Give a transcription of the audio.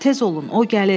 Tez olun, o gəlir!